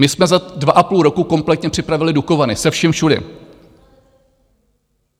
My jsme za dva a půl roku kompletně připravili Dukovany se vším všudy.